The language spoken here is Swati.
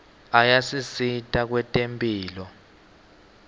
ayasisita kwetemphilo